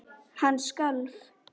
Hann skalf.